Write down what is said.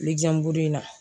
in na